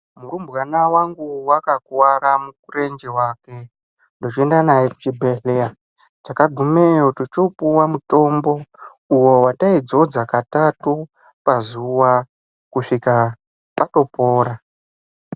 Murumbwana wangu wakakuwara murenje wake tochooenda naye kuchibhedhlera. Takagumeyo tochopuwa mutombo uwo waitaidzodza katatu pazuwa kusvika atopora.